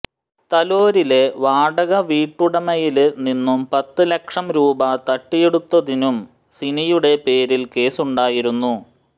തലോരിലെ വാടക വീട്ടുടമയില് നിന്നും പത്ത് ലക്ഷംരൂപ തട്ടിയെടുത്തതിനും സിനിയുടെ പേരില് കേസുണ്ടായിരുന്നു